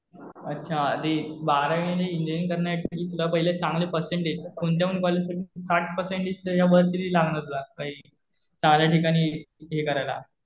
अच्छा ते बारावीला इंजिनीअरिंग करण्यासाठी सुध्दा पहिले चांगले पर्सेंटेज. कोणत्यापण कॉलेज साठी साठ पर्सेंटेज त्याच्या वर लागणार तुला काहीही. चांगल्या ठिकाणी हे करायला.